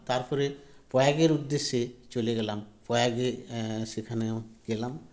তারপরে প্রয়াগের উদ্দেশ্যে চলে গেলাম প্রয়াগে এ সেখানেও গেলাম